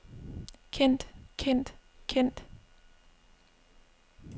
kendt kendt kendt